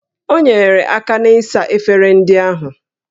O nyeere aka na-ịsa efere ndị ahụ